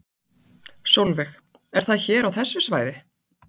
Sólveig: Er það hér á þessu svæði?